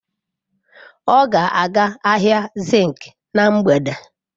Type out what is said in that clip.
Ọ ga-aga ahịa zinc na mgbede.